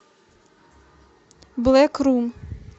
блэк рум